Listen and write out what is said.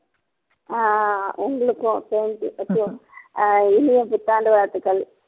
ஆஹ் உங்களுக்கும் same to you அஹ் இனிய புத்தாண்டு வாழ்த்துக்கள்